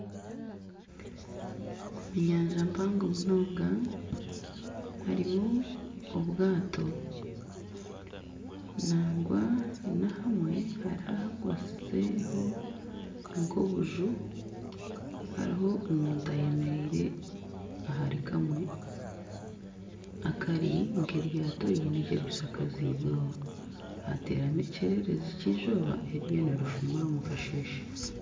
Omu nyanja mpango munonga harimu obwato nangwa na ahamwe hariho ahakwasizeho nk'obuju hariho omuntu ayemereire ahari kamwe akari nk'eryato riine ekirishakaziibweho hateeramu ekyererezi ky'eizooba eririyo nirifumura omu kasheeshe.